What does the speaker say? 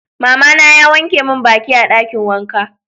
Mama na ya wanke min baki a dakin wanka.